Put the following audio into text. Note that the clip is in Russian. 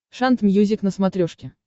шант мьюзик на смотрешке